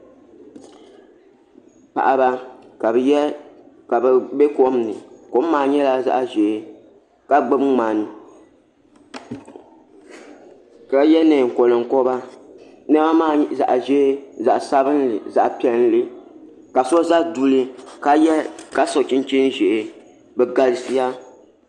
Paɣaba ka bi bɛ kom ni kom maa nyɛla zaɣ ʒiɛ ka gbuni ŋmani ka yɛ neen konkoba niɛma maa zaɣ ʒiɛ zaɣ sabinli zaɣ piɛlli ka so ʒɛ duli ka so chinchin ʒiɛ bi galisiya